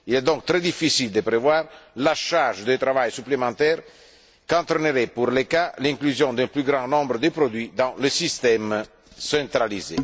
Il est donc très difficile de prévoir la charge de travail supplémentaire qu'entraînerait, pour l'ECHA l'inclusion d'un plus grand nombre de produits dans le système centralisé.